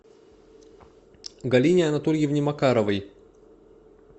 галине анатольевне макаровой